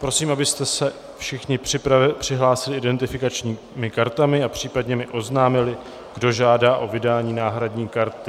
Prosím, abyste se všichni přihlásili identifikačními kartami a případně mi oznámili, kdo žádá o vydání náhradní karty.